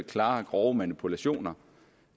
klare og grove manipulationer